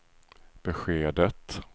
beskedet